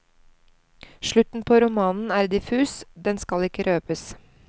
Slutten på romanen er diffus, den skal ikke røbes.